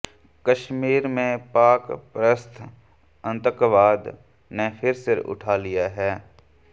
कश्मीर में पाक परस्त आतंकवाद ने फिर सिर उठा लिया है